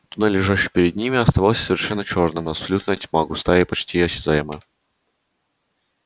туннель лежащий перед ними оставался совершенно чёрным абсолютная тьма густая и почти осязаемая